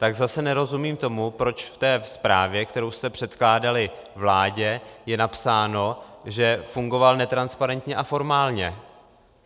Tak zase nerozumím tomu, proč v té zprávě, kterou jste předkládali vládě, je napsáno, že fungoval netransparentně a formálně.